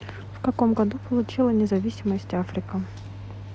в каком году получила независимость африка